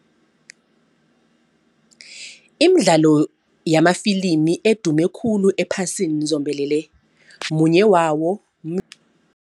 Imidlalo yamafilimi edume khulu ephasini zombelele munye wawo